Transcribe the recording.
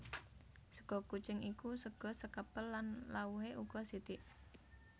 Sega kucing iku sega sekepel lan lawuhé uga sithik